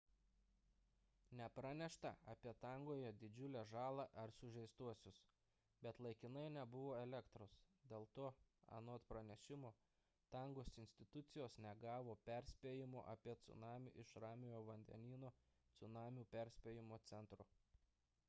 nepranešta apie tongoje didžiulę žalą ar sužeistuosius bet laikinai nebuvo elektros dėl to anot pranešimo tongos institucijos negavo perspėjimo apie cunamį iš ramiojo vandenyno cunamių perspėjimo centro